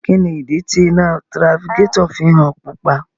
Kini idi ti ina tirafikatọ fi ń han pupa?